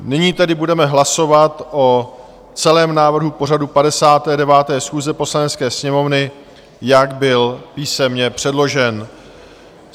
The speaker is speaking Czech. Nyní tedy budeme hlasovat o celém návrhu pořadu 59. schůze Poslanecké sněmovny, jak byl písemně předložen.